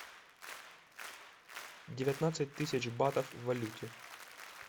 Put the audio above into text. девятнадцать тысяч батов в валюте